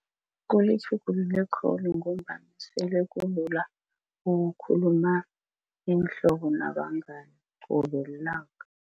Kulitjhugulule khulu ngombana sele kulula ukukhuluma iinhlobo nabangani qobe lilanga.